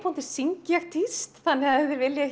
syng ég tíst þannig að ef þið viljið